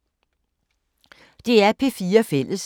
DR P4 Fælles